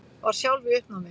Var sjálf í uppnámi.